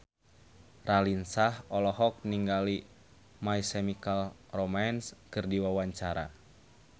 Raline Shah olohok ningali My Chemical Romance keur diwawancara